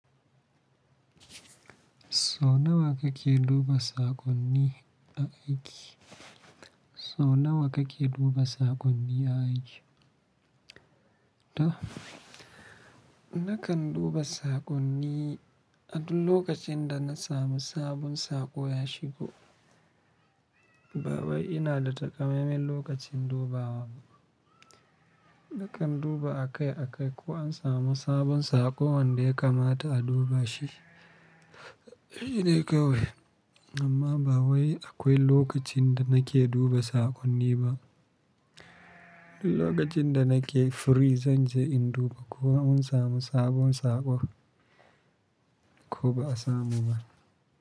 Sau nawa kike duba saƙonni a aiki? So nawa kake duba saƙonni a aiki? To, nakan duba saƙonni a dul lokacin da na samu sabon saƙo ya shigo. Ba wai ina da takamaiman lokacin dubawa ba. Nakan duba akai-akai ko an samu sabon saƙo wanda ya kamata a duba shi. Ee ka wai. Amma ba wai akwai lokacin da nake duba saƙonni ba. Duk lokacin da nake free zan je in duba ko an samu sabon saƙo ko ba a samu ba.